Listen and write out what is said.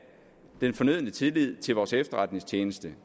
den fornødne tillid til vores efterretningstjeneste